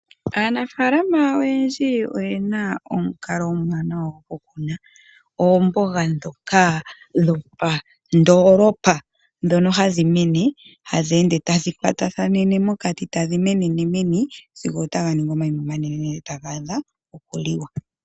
Aanafaalama oyendji oyena omukalo omwaanawa gokukuna oomboga dhoka dhopandoolopa ndhono hadhi mene hadhi ende tadhi kwatathanene mokati tadhi menene meni sigo taga ningi omanima omanene, taga adha okuliwa.